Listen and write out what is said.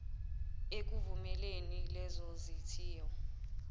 ekuvumeleni lezo zithiyo